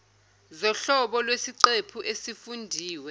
zohlobo lwesiqephu esifundiwe